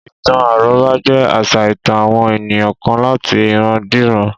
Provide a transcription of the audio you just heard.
Ìtàn àrọ́bá jé àṣà ìtàn àwọn ènìyàn kan láti ìran dé ìran